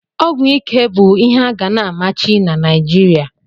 Ọgwụ ike bụ ihe a ga na-amachi na Naijiria.